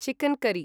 chicken करी